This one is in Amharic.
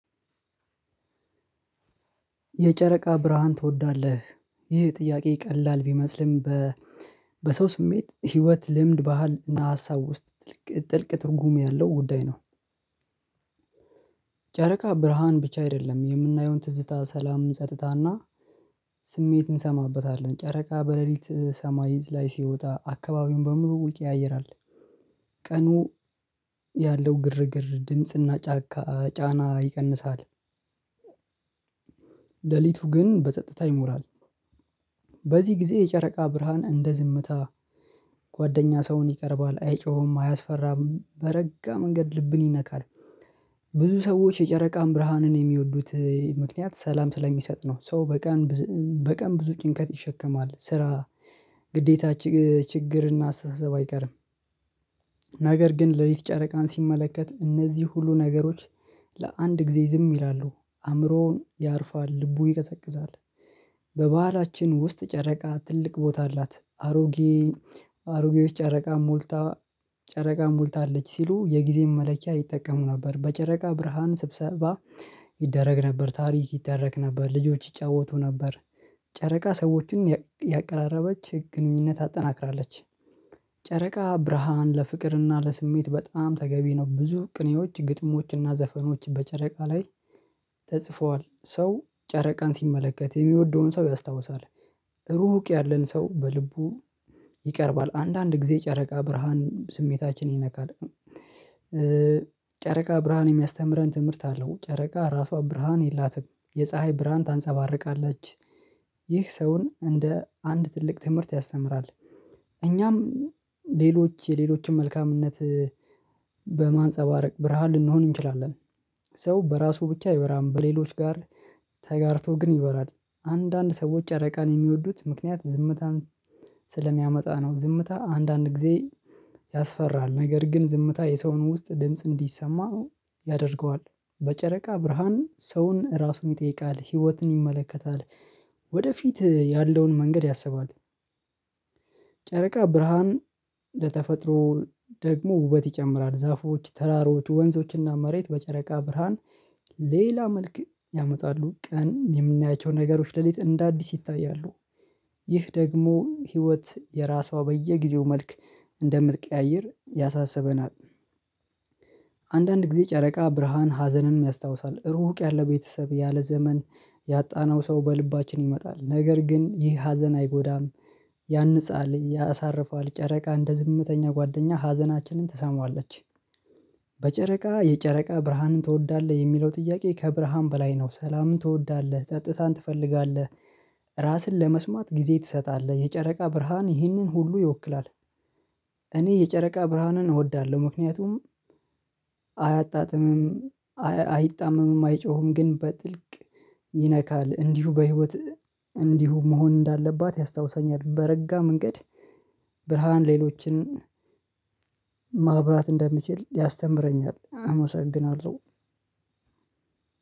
የጨረቃ ብርሃን ትወዳለ? ይህ ጥያቄ ቀላል ቢመስልም በ በሰው ስሜት፤ ህይወት፤ ልምድ ባህል እና ሀሳብ ውስጥ ጥልቅ ትርጉም ያለው ጉዳይ ነው። ጨረቃ ብርሃን ብቻ አይደለም። የምናየውን ትዝታ ሰላም ጸጥታና፤ ስሜት እንሰማበታለን። ጨረቃ በሌሊት ሰማይ ላይ ሲወጣ አካባቢውን በሙሉ ይቀያይራል። ቀኑ ያለው ግርግ፤ ድምጽና፤ ጫና ይቀንሳል። ሌሊቱ ግን በጸጥታ ይሞላል። በዚህ ጊዜ የጨረቃ ብርሃን እንደ ዝምታ ጓደኛ ሰውን ይቀርባል። አይጮህ፤ አያስፈራም በረጋ መንገድ ልብን ይነካል። ብዙ ሰዎች የጨረቃን ብርሃንን የሚወዱት ምክንያት ሰላም ስለሚሰጥ ነው። ሰው በቀን ብዙ ጭንቀት ይሸከማል። ስራ ግዴታ ችግርና አስተሳሰብ አይቀርም። ነገር ግን ሌሊት ጨረቃን ሲመለከት እነዚህ ሁሉ ነገሮች ለአንድ ጊዜ ዝም ይላሉ። አእምሮውን ያርፋል ልቡ ይቀዘቅዛል። በባህላችን ውስጥ ጨረቃ ትልቅ ቦታ አላት። አሮጌዎች ጨረቃ ሞልታለች ሲሉ የጊዜን መለኪያ ይጠቀሙ ነበር። በጨረቃ ብርሃን ስብሰባ ይደረግ ነበር፤ ታሪክ ይተረክ ነበር ልጆች ይጫወቱ ነበር። ጨረቃ ሰዎችን ያቀራረበች ህገኝነት አጠናክራለች። ጨረቃ ብርሃን ለፍቅርና ለስሜት በጣም ተገቢ ነው። ብዙ ቅኔዎች ግጥሞችና ዘፈኖች በጨረቃ ላይ ተጽፈዋል። ሰው ጨረቃን ሲመለከት የሚወደውን ሰው ያስታውሳል። ሩቅ ያለን ሰው በልቡ ይቀርባል። አንዳንድ ጊዜ ጨረቃ ብርሃን ስሜታችን ይነካል። ጨረቃ ብርሃን የሚያስተምረን ትምህርት አለው። ጨረቃ ራሷ ብርሃን የላትም። የፀሀይ ብርሃን ታንፀባርቃለች። ይህ ሰውን እንደ አንድ ትልቅ ትምህርት ያስተምራል። እኛም የሌሎችን መልካምነት በማንፀባረቅ ብርሃን ልንሆን እንችላለን። ሰው በራሱ ብቻ አይበራም። በሌሎች ጋር ተጋርቶ ግን ይበራል። አንዳንድ ሰዎች ጨረቃን የሚወዱት ምክንያት ዝምታን ስለሚያመጣ ነው። ዝምታ አንዳንድ ጊዜ ያስፈራል። ነገር ግን ዝምታ የሰውን ውስጥ ድምጽ እንዲሰማ ያደርገዋል። በጨረቃ ብርሃን ሰውን ራሱን ይጠይቃል። ህይወትን ይመለከታል ወደፊት ያለውን መንገድ ያሰባል። ጨረቃ ብርሃን ለተፈጥሮ ደግሞ ውበት ይጨምራል። ዛፎች ተራሮች ወንዞች እና መሬት በጨረቃ ብርሃን ሌላ መልክ ያመጣሉ። ቀን የምናያቸውን ነገሮች ሌሊት እንደ አዲስ ይታያሉ። ይህ ደግሞ ህይወት የራሷ በየጊዜው መልክ እንደምትቀያይር ያሳስበናል። አንዳንድ ጊዜ ጨረቃ ብርሃን ሀዘንን ያስታውሳል። ሩቅ ያለ ቤተሰብ ያለ ዘመን ያጣነው ሰው በልባችን ይመጣል። ነገር ግን ይህ ሀዘን አይጎዳ፤ ያንጻል ያሳርፋል። ጨረቃ እንደ ዝምተኛ ጓደኛ ሀዘናችንን ትሰማዋለች። በጨረቃ የጨረቃ ብርሃንን ትወዳለ? የሚለው ጥያቄ ከብርሃን በላይ ነው። ሰላምን ትወዳለህ ጸጥታን ትፈልጋለህ። ራስን ለመስማት ጊዜ ትሰጣለህ። የጨረቃ ብርሃን ይህንን ሁሉ ይወክላል። እኔ የጨረቃ ብርሃንን እወዳለሁ ምክንያቱም አያጣጥም፤ አይጣመምም፤ አይጮሁም፤ ግን በጥልቅ ይነካል። እንዲሁ በህይወት እንዲሁ መሆን እንዳለባት ያስታውሳኛል። በረጋ መንገድ ብርሃን ሌሎችን ማብራት እንደምችል ያስተምረኛል አመሰግናለሁ።